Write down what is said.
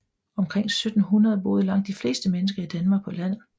Omkring 1700 boede langt de fleste mennesker i Danmark på landet